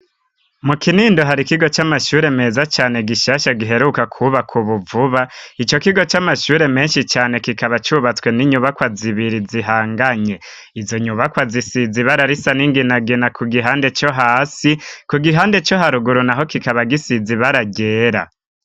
Mu Kinindo hari ikigo c'amashure meza cane gishasha giheruka kubakwa ubu vuba. Ico kigo c'amashure menshi cane kikaba cubatswe n'inyubakwa zibiri zihanganye. Izo nyubakwa zisize ibara risa n'inginagina ku gihande co hasi, ku gihande co haruguru naho kikaba gisize ibara ryera.